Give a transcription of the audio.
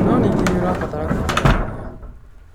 No ningĩ nĩ ũrabatara kwĩrutanĩria.